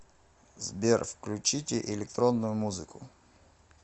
сбер включите электронную музыку